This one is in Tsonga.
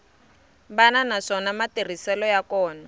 wana naswona matirhiselo ya kona